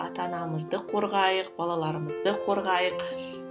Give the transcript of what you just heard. ата анамызды қорғайық балаларымызды қорғайық